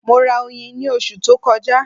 Mo ra oyin ní oṣù tó kọjá.